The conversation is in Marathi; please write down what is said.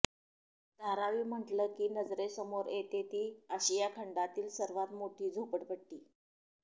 धारावी म्हटलं की नजरेसमोर येते ती आशिया खंडातली सर्वात मोठी झोपडपट्टी